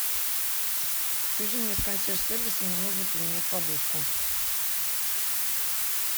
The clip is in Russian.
свяжи меня с консьерж сервисом мне нужно поменять подушку